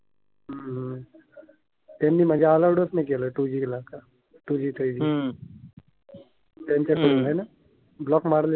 त्यांनी म्हणजे अलाउड च नाही केलं टूजी ला का? टूजी थ्रीजी त्यांच्याकडून हाय ना? ब्लॉक मारलं